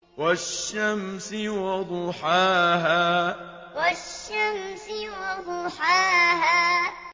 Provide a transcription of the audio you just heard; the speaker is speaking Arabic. وَالشَّمْسِ وَضُحَاهَا وَالشَّمْسِ وَضُحَاهَا